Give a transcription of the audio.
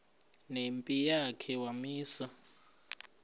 nempi yakhe wamisa